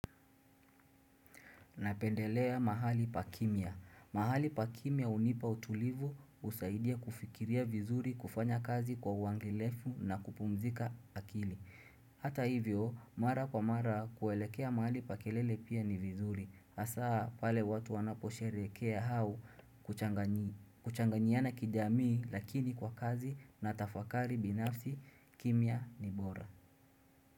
Napendelea mahali pa kimia. Mahali pa kimia hunipa utulivu husaidia kufikiria vizuri kufanya kazi kwa uangalifu na kupumzika akili. Hata hivyo, mara kwa mara kuelekea mahali pa kelele pia ni vizuri. Hasa pale watu wanaposherekea au kuchanganyiana kijamii lakini kwa kazi na tafakari binafsi kimia ni bora.